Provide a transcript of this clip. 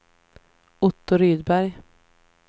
Otto Rydberg